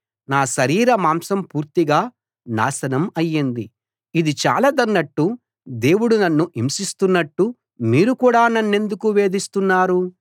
నా శరీర మాంసం పూర్తిగా నాశనం అయ్యింది ఇది చాలదన్నట్టు దేవుడు నన్ను హింసిస్తున్నట్టు మీరు కూడా నన్నెందుకు వేధిస్తున్నారు